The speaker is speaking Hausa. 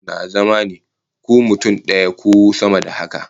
Sirdin mashin na zama ne, ko mutum daya ko sama da haka